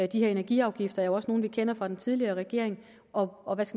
de her energiafgifter er også nogle som vi kender fra den tidligere regering og og